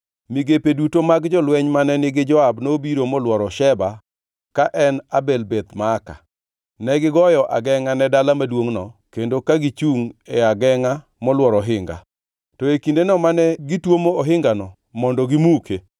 Migepe duto mag jolweny mane nigi Joab nobiro molworo Sheba ka en Abel Beth Maaka. Negigoyo agengʼa ne dala maduongʼno kendo ka gichungʼ e agengʼa molworo ohinga. To e kindeno mane gitwomo ohinganano mondo gimuke,